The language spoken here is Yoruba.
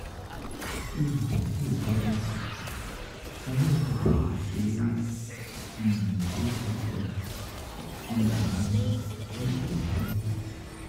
Ti oludokoowo ba dagba, wọn yoo ra oṣuwọn ti o um ga julọ julọ ti awọn ilé ifowopamọsi.